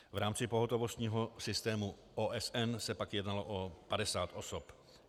V rámci pohotovostního systému OSN se pak jednalo o 50 osob.